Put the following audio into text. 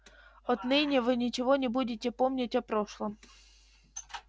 отныне вы ничего не будете помнить о прошлом